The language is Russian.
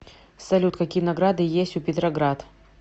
салют какие награды есть у петроград